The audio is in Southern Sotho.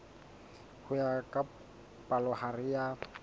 ho ya ka palohare ya